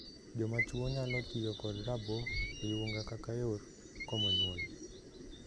Joma chwo nyalo tiyo kod raboo oyunga kaka yor komo nyuol.